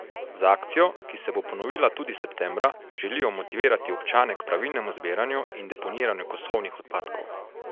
Z akcijo, ki se bo ponovila tudi septembra, želijo motivirati občane k pravilnemu zbiranju in deponiranju kosovnih odpadkov.